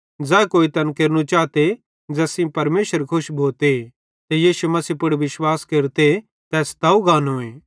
ज़ै कोई तैन केरनू चाते ज़ैस सेइं परमेशरे खुश भोते ते यीशु मसीह पुड़ विश्वास केरते तै स्तव गानोए